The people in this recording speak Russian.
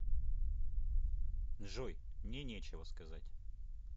джой мне нечего сказать